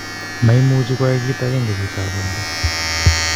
Maimuche koyai kit agenge chiti agenge.